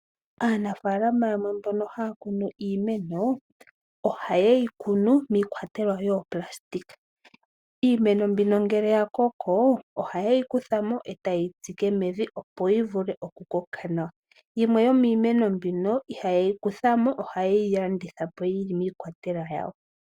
Aanafalam yamwe mbono haya kunu iimeno ohayeyi kunu miikwatelwa yiplastic iimeno mbino ngele ya koko ohayeyi kurha mo ata yeyi tsike mevi opo yi vule oku koka nawa yimwe yomiineno mbino ihayeyi kutha mo ohayeyi landitha po yili miikwatelwa yawo.